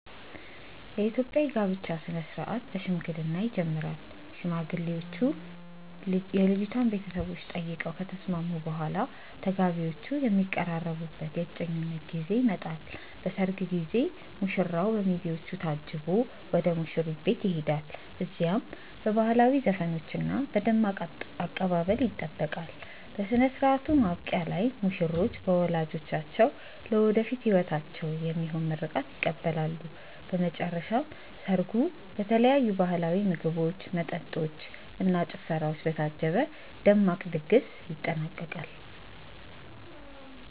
የኢትዮጵያ የጋብቻ ሥነ ሥርዓት በሽምግልና ይጀምራል። ሽማግሌዎች የልጅቷን ቤተሰቦች ጠይቀው ከተስማሙ በኋላ፣ ተጋቢዎቹ የሚቀራረቡበት የእጮኝነት ጊዜ ይመጣል። በሰርግ ቀን ሙሽራው በሚዜዎቹ ታጅቦ ወደ ሙሽሪት ቤት ይሄዳል። እዚያም በባህላዊ ዘፈኖችና በደማቅ አቀባበል ይጠበቃል። በሥነ ሥርዓቱ ማብቂያ ላይ ሙሽሮች በወላጆቻቸው ለወደፊት ሕይወታቸው የሚሆን ምርቃት ይቀበላሉ። በመጨረሻም ሰርጉ በተለያዩ ባህላዊ ምግቦች፣ መጠጦች እና ጭፈራዎች በታጀበ ደማቅ ድግስ ይጠናቀቃል።